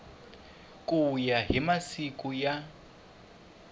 ku ya hi masiku ya